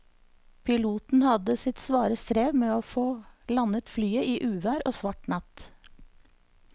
Piloten hadde sitt svare strev med å få landet flyet i uvær og svart natt.